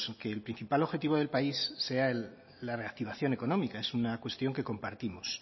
que el principal objetivo del país sea la reactivación económica es una cuestión que compartimos